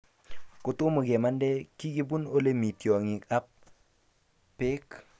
Kotomo kemande, kikibun ole mii tiongik ab pek